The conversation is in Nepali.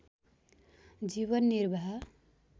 जीवन निर्वाह